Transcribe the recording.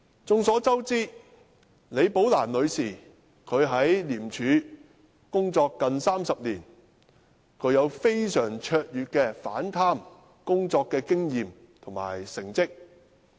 眾所周知，李寶蘭女士在廉署工作近30年，具非常卓越的反貪工作經驗及成績。